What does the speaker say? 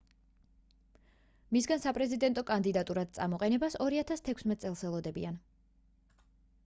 მისგან საპრეზიდენტო კანდიდატურად წამოყენებას 2016 წელს ელოდებიან